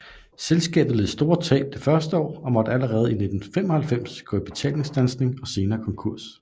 Selskabet led store tab det første år og måtte allerede i 1995 gå i betalingsstandsning og senere konkurs